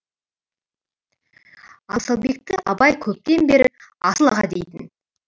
асылбекті абай көптен бері асыл аға дейтін